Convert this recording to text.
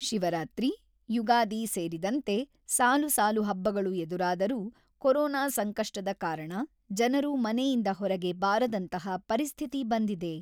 ಶಿವರಾತ್ರಿ, ಯುಗಾದಿ ಸೇರಿದಂತೆ ಸಾಲು ಸಾಲು ಹಬ್ಬಗಳು ಎದುರಾದರೂ, ಕೊರೊನಾ ಸಂಕಷ್ಟದ ಕಾರಣ ಜನರು ಮನೆಯಿಂದ ಹೊರಗೆ ಬಾರದಂತಹ ಪರಿಸ್ಥಿತಿ ಬಂದಿದೆ.